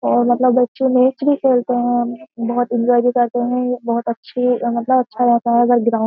और मतलब मैच भी खेलते है बहुत इंजॉय भी करते है बहुत अच्छे मतलब अच्छा रहता है --